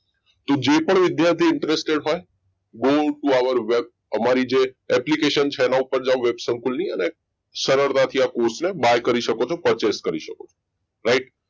તો જે પણ વિદ્યાર્થી interested હોય go to our website અમારી જે application છે એના ઉપર જાવ web ખોલીને સરળતાથી આ course ને buy કરી શકો છો purchase કરી શકો છો right